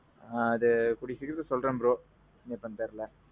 ஆ அது கூடிய சீக்கிரத்துல சொல்றேன் bro. எப்பொன் தெரில